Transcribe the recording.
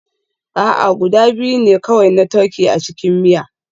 A'a, guda biyu ne kawai na turkey a cikin miya